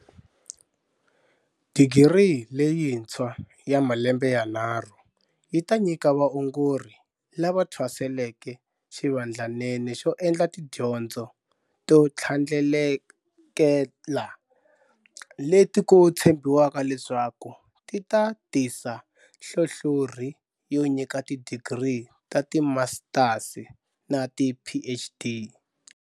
Digiri leyintshwa ya malembe yanharhu yi ta nyika vaongori lava thwaseleke xivandlanene xo endla tidyondzo to tlhandlekela, leti ku tshembiwaka leswaku ti ta tisa nhlonhlorhi yo nyika tidigiri ta timasitasi na tiPhD.